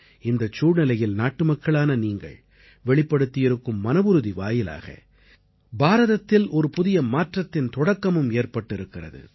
இந்தச் சூழ்நிலையில் நாட்டுமக்களான நீங்கள் வெளிப்படுத்தியிருக்கும் மனவுறுதி வாயிலாக பாரதத்தில் ஒரு புதிய மாற்றத்தின் தொடக்கமும் ஏற்பட்டிருக்கிறது